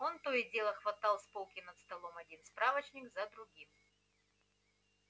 он то и дело хватал с полки над столом один справочник за другим